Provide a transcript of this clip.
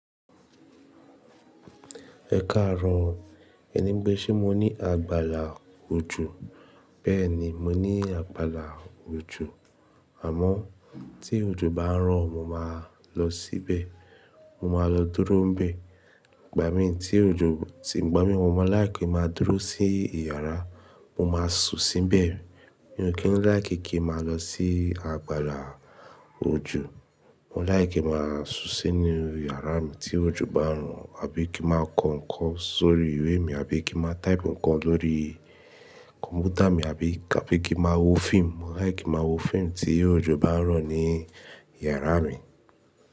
Ẹ káàáro, ẹni pé, ṣé mo ní àgbàlá ojú? Bẹ́ẹ̀ni, mo ní àgbàlá ojú. Àmọ́ tí ojú bá ń rọ̀, mo máa lọ sile Mo máa lọ dúró níbẹ̀. Ìgbà mi tí ojú ti gbó mí, mo máa láì kí máa dúró sí ìyàrá, mo máa su síbẹ̀. Mi ò kí ń láì kí kí máa lọ sí àgbàlá ojo. Mo láì kí máa su sí inú ìyàrá mi tí ojo bá ń rọ̀ àbí kí máa kọ ǹkan sórí ìwé mi àbí kí máa type ǹkan lórí kọ̀m̀pútà mi àbí àbí kí máa wo fíìmù. Mo láì kí máa wo fíìmù tí ojú bá ń rọ̀ ní ìyàrá mi.